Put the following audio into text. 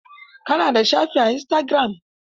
Ka na da shafi a istagiram?